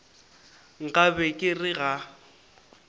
nka be ke re ga